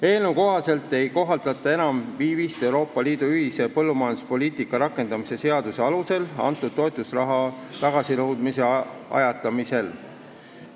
Eelnõu kohaselt ei kohaldata enam viivist Euroopa Liidu ühise põllumajanduspoliitika rakendamise seaduse alusel antud toetusraha tagasinõudmise ajatamisel.